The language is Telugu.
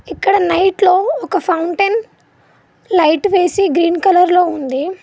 ఇక్కడ నైట్ లో ఒక ఫౌంటెన్ లైట్ వేసి గ్రీన్ కలర్లో ఉంది.